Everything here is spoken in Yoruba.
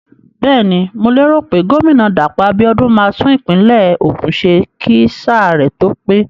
Bẹ́ẹ̀ni, mo lérò pé gómìnà Dàpọ̀ Abíọ́dún máa tún ìpínlẹ̀ Ògùn ṣe kí sáà rẹ̀ tó pé.